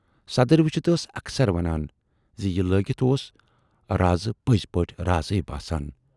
صدٕرۍ وُچھِتھ ٲس اکثر ونان زِ یہِ لٲگِتھ اوس رازٕ پٔزۍ پٲٹھۍ رازے باسان۔